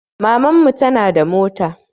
Maman mu tana da mota